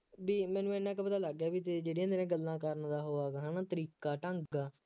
ਬਈ ਮੈਨੂੰ ਐਨਾ ਕੁ ਪਤਾ ਲੱਗ ਗਿਆ ਤੇਰੀ ਜਿਹੜੀਆਂ ਤੇਰੀਆਂ ਗੱਲਾਂ ਕਰਨ ਦਾ ਉਹ ਹੈ ਤਰੀਕਾ ਢੰਗ ਹੈ